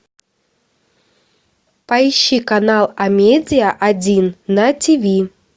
поищи канал амедиа один на ти ви